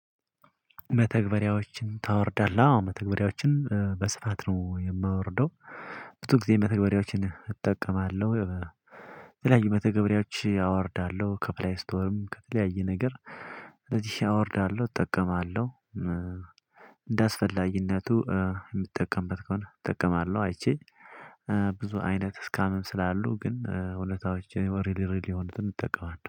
መተግበሪያዎችን ታወርዳለህ አዎ መተግበሪያዎችን በስፋት ነው የማወርደው። ብዙ ጊዜ መተግበሪያዎችን እጠቀማለሁ የተለያዩ መተግበሪያዎች አወርዳለሁ ከፕለይ ስቶርም ከተለያየ ነገር። ስለዚህ አወርዳለሁ እጠቀማለሁ። እንዳስፈላጊነቱ የምጠቀምበት ከሆነ እጠቀማለሁ። አይቼ ብዙ አይነት ስካምም ስላሉ ግን እውነታዎችን ሪል ሪል የሆኑትን እጠቀማለው